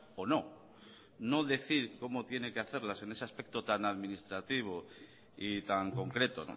o no no decir cómo tiene que hacerlas en ese aspecto tan administrativo y tan concreto